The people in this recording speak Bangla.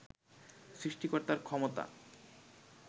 সৃষ্টিকর্তার ক্ষমতা